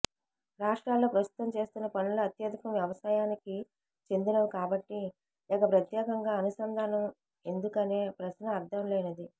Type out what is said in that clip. రాష్ట్రాల్లో ప్రస్తుతం చేస్తున్న పనుల్లో అత్యధికం వ్యవసాయానికి చెందినవి కాబట్టి ఇక ప్రత్యేకంగా అనుసంధానం ఎందుకనే ప్రశ్న అర్థం లేనిది